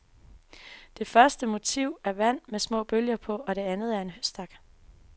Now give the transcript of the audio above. Det første motiv er vand med små bølger på, det anden en høstak.